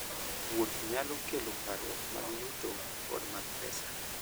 Wuoth nyalo kelo parruok mag yuto koda mag pesa.